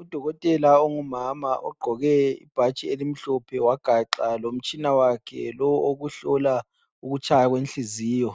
Udokotela ongumama ogqoke ibhatshi elimhlophe, wagaxa lomtshina wakhe lowo owokuhlola ukutshaya kwenhliziyo.